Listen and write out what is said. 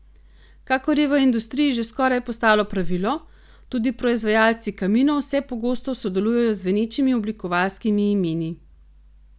Kakor je v industriji že skoraj postalo pravilo, tudi proizvajalci kaminov vse pogosteje sodelujejo z zvenečimi oblikovalskimi imeni.